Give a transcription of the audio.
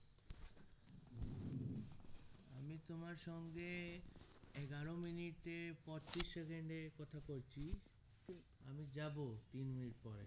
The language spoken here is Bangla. আমি তোমার সঙ্গে এগারো minute এ পঁচিশ second এ কথা করছি আমি যাবো তিন minute পরে